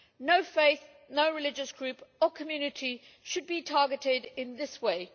No faith, no religious group or community should be targeted in this way.